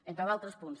entre d’altres punts